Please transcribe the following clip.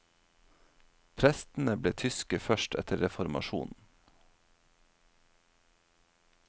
Prestene ble tyske først etter reformasjonen.